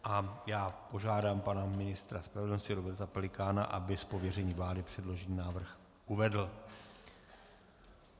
A já požádám pana ministra spravedlnosti Roberta Pelikána, aby z pověření vlády předložený návrh uvedl.